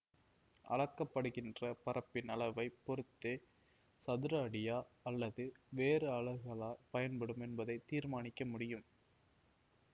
அளக்கப்படுகின்ற பரப்பின் அளவை பொறுத்தே சதுர அடியா அல்லது வேறு அலகுகளா பயன்படும் என்பதை தீர்மானிக்க முடியும்